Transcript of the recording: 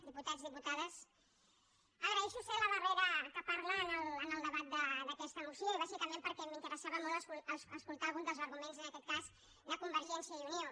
diputats diputades agraeixo ser la darrera que parla en el debat d’aquesta moció i bàsicament perquè m’interessava molt escoltar algun dels arguments en aquest cas de convergència i unió